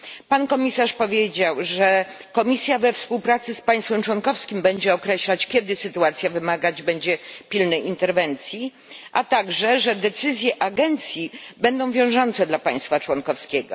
Pan komisarz powiedział, że Komisja we współpracy z państwem członkowskim będzie określać, kiedy sytuacja wymagać będzie pilnej interwencji, a także że decyzje agencji będą wiążące dla państwa członkowskiego.